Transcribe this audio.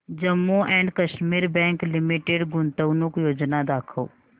Jammu and Kashmir bank limited गुंतवणूक योजना दाखव